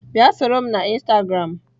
Bia soro m na instagram!